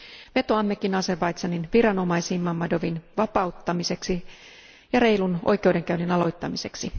Vetoammekin Azerbaidžanin viranomaisiin Mammadovin vapauttamiseksi ja reilun oikeudenkäynnin aloittamiseksi.